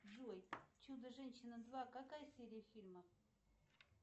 джой чудо женщина два какая серия фильма